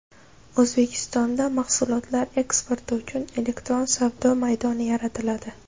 O‘zbekistonda mahsulotlar eksporti uchun elektron savdo maydoni yaratiladi.